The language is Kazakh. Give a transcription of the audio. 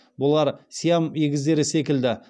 бұлар сиам егіздері секілді